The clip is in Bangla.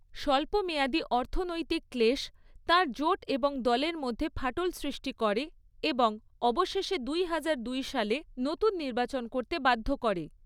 স্বল্পমেয়াদী অর্থনৈতিক ক্লেশ তাঁর জোট এবং দলের মধ্যে ফাটল সৃষ্টি করে এবং অবশেষে দুই হাজার দুই সালে নতুন নির্বাচন করতে বাধ্য করে।